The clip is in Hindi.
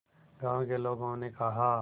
गांव के लोगों ने कहा